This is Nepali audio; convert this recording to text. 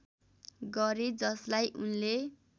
गरे जसलाई उनले